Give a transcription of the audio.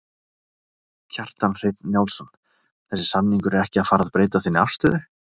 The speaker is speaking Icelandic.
Kjartan Hreinn Njálsson: Þessi samningur er ekki að fara að breyta þinni afstöðu?